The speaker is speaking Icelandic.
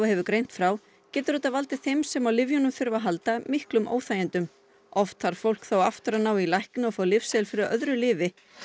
hefur greint frá getur þetta valdið þeim sem á lyfjunum þurfa að halda miklum óþægindum oft þarf fólk þá aftur að ná í lækni og fá lyfseðil fyrir öðru lyfi